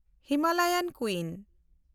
Himalayan ᱠᱩᱭᱤᱱ